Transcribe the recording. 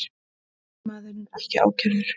Eiginmaðurinn ekki ákærður